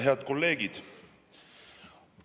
Head kolleegid!